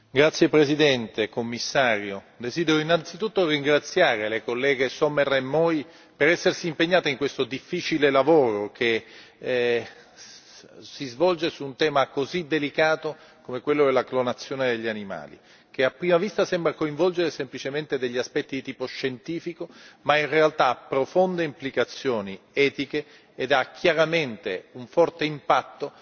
Signor Presidente, onorevoli colleghi, Commissario, desidero innanzitutto ringraziare le colleghe Sommer e Moi per essersi impegnate in questo difficile lavoro che si svolge su un tema così delicato come quello della clonazione degli animali, che a prima vista sembra coinvolgere semplicemente degli aspetti di tipo scientifico, ma in realtà ha profonde implicazioni etiche e ha chiaramente un forte impatto